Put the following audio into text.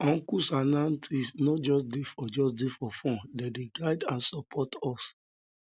um uncles um and aunties no just dey for just dey for fun dem dey guide and support us um